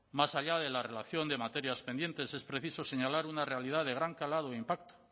más allá de la relación de materias pendientes es preciso señalar una realidad de gran calado e impacto